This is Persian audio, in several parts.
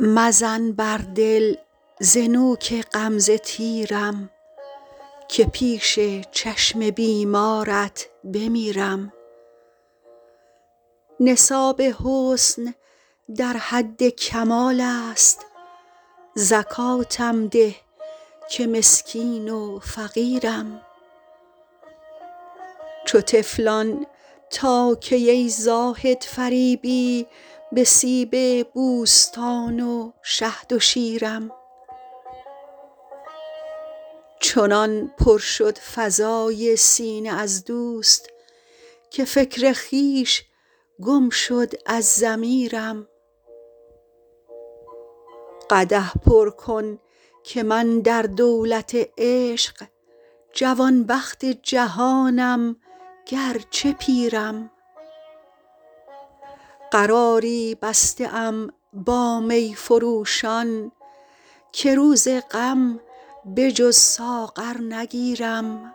مزن بر دل ز نوک غمزه تیرم که پیش چشم بیمارت بمیرم نصاب حسن در حد کمال است زکاتم ده که مسکین و فقیرم چو طفلان تا کی ای زاهد فریبی به سیب بوستان و شهد و شیرم چنان پر شد فضای سینه از دوست که فکر خویش گم شد از ضمیرم قدح پر کن که من در دولت عشق جوانبخت جهانم گرچه پیرم قراری بسته ام با می فروشان که روز غم به جز ساغر نگیرم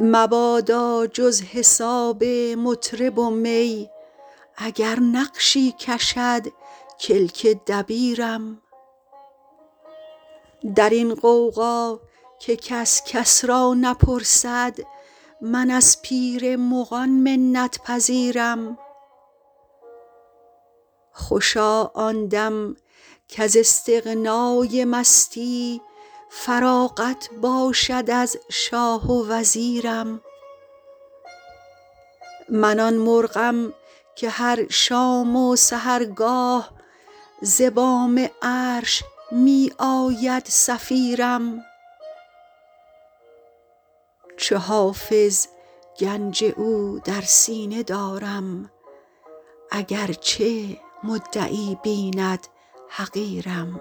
مبادا جز حساب مطرب و می اگر نقشی کشد کلک دبیرم در این غوغا که کس کس را نپرسد من از پیر مغان منت پذیرم خوشا آن دم کز استغنای مستی فراغت باشد از شاه و وزیرم من آن مرغم که هر شام و سحرگاه ز بام عرش می آید صفیرم چو حافظ گنج او در سینه دارم اگرچه مدعی بیند حقیرم